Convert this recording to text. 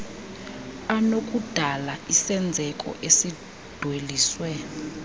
anokudala isenzeko esidweliswe